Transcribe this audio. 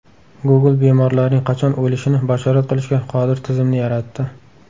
Google bemorlarning qachon o‘lishini bashorat qilishga qodir tizimni yaratdi.